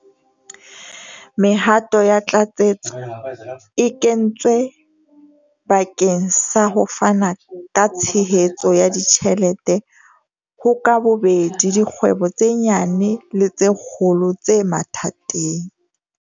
Mehato ya tlatsetso e kentswe bakeng sa ho fana ka tshehetso ya ditjhelete ho ka bobedi dikgwebo tse nyane le tse kgolo tse mathateng.